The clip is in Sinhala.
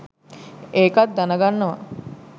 ඒකත් දැනගන්නවා.